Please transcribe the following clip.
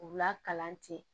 K'u lakalan ten